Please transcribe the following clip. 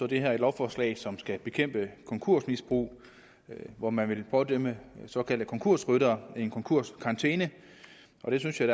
det her et lovforslag som skal bekæmpe konkursmisbrug hvor man vil pådømme såkaldte konkursryttere en konkurskarantæne og det synes jeg